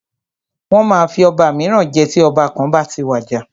Wọ́n máa fi ọba míràn jẹ tí ọba kan bá ti wàjà.